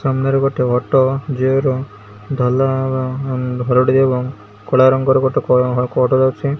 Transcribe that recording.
ସାମ୍ନାରେ ଗୋଟେ ଅଟୋ କଳା ରଙ୍ଗର ଗୋଟେ --